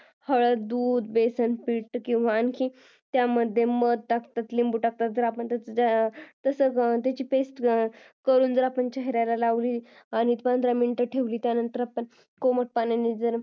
हळद दूध बेसन पीठ किंवा त्याच्यामध्ये मध टाकतात लिंबू टाकतात त्याची पेस्ट करून जर आपण चेहऱ्याला लावले आणि पंधरा मिनिटे ठेवले त्यानंतर कोमट पाण्याने